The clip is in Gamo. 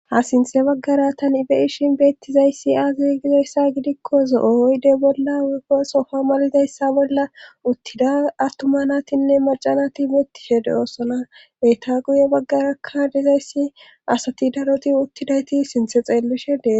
ha sinthe baggara tan ibe7ishin beettizayssi aazi gizoyssa gidikko zo7ooyde bolla sofa malidayssa bolla uttida attuma natinne macanati mettishe de oosona beyta guye baggarakka dizayssi asati daroti uttidayti sinthe xeellishedee